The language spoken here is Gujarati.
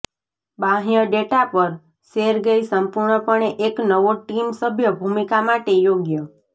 બાહ્ય ડેટા પર સેરગેઈ સંપૂર્ણપણે એક નવો ટીમ સભ્ય ભૂમિકા માટે યોગ્ય